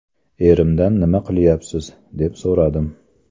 Erimdan nima qilyapsiz, deb so‘radim.